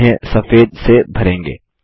हम उन्हें सफेद से भरेंगे